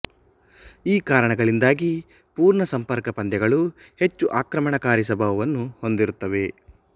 ಈ ಕಾರಣಗಳಿಂದಾಗಿ ಪೂರ್ಣಸಂಪರ್ಕ ಪಂದ್ಯಗಳು ಹೆಚ್ಚು ಆಕ್ರಮಣಕಾರಿ ಸ್ವಭಾವನ್ನು ಹೊಂದಿರುತ್ತವೆ